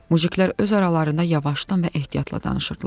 Mujiklər öz aralarında yavaşdan və ehtiyatla danışırdılar.